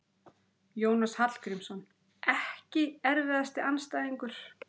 Jónas Hallgrímsson EKKI erfiðasti andstæðingur?